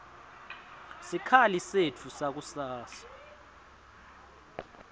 sikhali setfu sakusasa